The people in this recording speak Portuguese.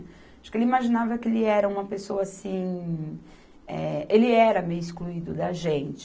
Acho que ele imaginava que ele era uma pessoa assim... Eh, Ele era meio excluído da gente.